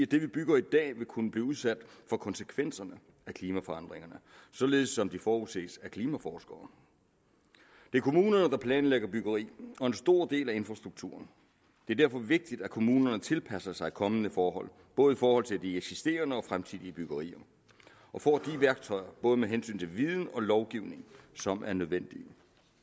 det vi bygger i dag vil kunne blive udsat for konsekvenserne af klimaforandringerne således som det forudses af klimaforskere det er kommunerne der planlægger byggeriet og en stor del af infrastrukturen det er derfor vigtigt at kommunerne tilpasser sig kommende forhold både i forhold til de eksisterende og de fremtidige byggerier og får de værktøjer både med hensyn til viden og lovgivning som er nødvendige